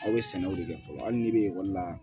Aw bɛ sɛnɛw de kɛ fɔlɔ hali n'i bɛ ekɔli la